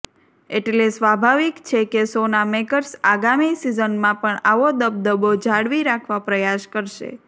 એટલે સ્વાભાવિક છે કે શોના મેકર્સ આગામી સિઝનમાં પણ આવો દબદબો જાળવી રાખવા પ્રયાસ કરશે